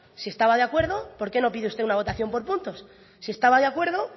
si estaba de acuerdo por qué no pide usted una votación por puntos si estaba de acuerdo